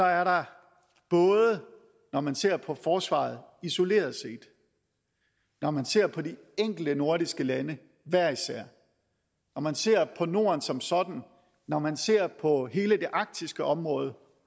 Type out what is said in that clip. er der både når man ser på forsvaret isoleret set når man ser på de enkelte nordiske lande hver især når man ser på norden som sådan når man ser på hele det arktiske område